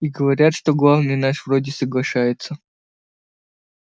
и говорят что главный наш вроде соглашается